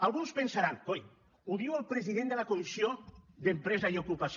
alguns pensaran coi ho diu el president de la comissió d’empresa i ocupació